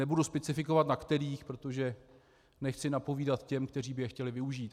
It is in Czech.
Nebudu specifikovat na kterých, protože nechci napovídat těm, kteří by je chtěli využít.